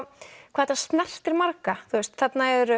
hvað þetta snerti marga þarna eru